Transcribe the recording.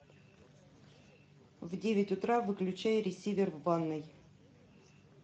в девять утра выключай ресивер в ванной